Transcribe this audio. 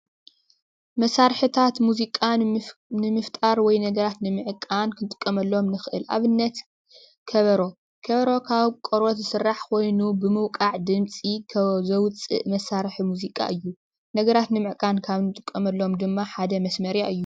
መሳርሕታት ሙዚቃ ንምፍጣር ወይ ነገራት ንምዕብን ክጥቀመሎም ንኽእል፡፡ ኣብነት ከበሮ ከበሮ ካብ ቆርበት ዝስራሕ ኮይኑ ብምውቃዕ ድምፂ ዘውፅእ መሳርሒ ሙዚቃ እዩ፡፡ ነገራት ንምዕቃብ ካብ እንጥቀመሎም ድማ ሓደ መስመርያ እዩ፡፡